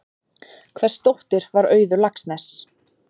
Hvers dóttir var Auður Laxness?